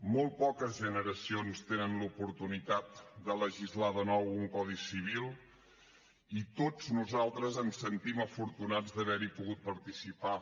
molt poques generacions tenen l’oportunitat de legislar de nou un codi civil i tots nosaltres ens sentim afortunats d’haver hi pogut participar